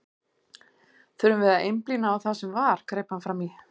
Þurfum við að einblína á það sem var, greip hann fram í.